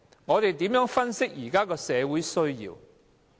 我們如何分析現時社會的需要？